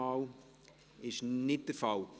– Dies ist nicht der Fall.